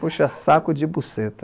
Puxa Saco de Buceta.